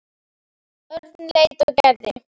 Örn leit á Gerði.